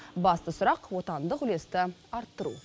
басты сұрақ отандық үлесті арттыру